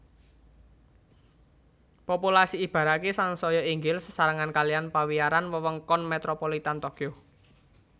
Populasi Ibaraki sansaya inggil sesarengan kalihan pawiyaran Wewengkon Metropolitan Tokyo